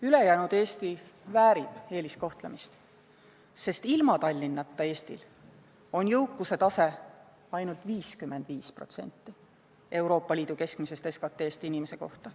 Ülejäänud Eesti väärib eeliskohtlemist, sest ilma Tallinnata on Eesti jõukuse tase ainult 55% Euroopa Liidu keskmisest SKT-st inimese kohta.